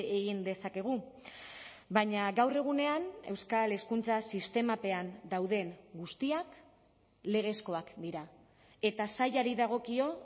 egin dezakegu baina gaur egunean euskal hezkuntza sistemapean dauden guztiak legezkoak dira eta sailari dagokio